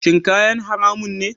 Shin kayan haramun ne?